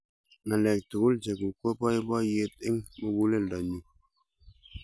ng'alek tugul cheguk ko baibaiet eng' muguleldo nyu